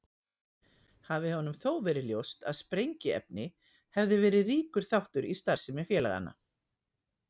Hafi honum þó verið ljóst að sprengiefni hefði verið ríkur þáttur í starfsemi félaganna.